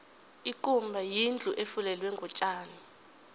ikumba yindlu efulelwe ngotjani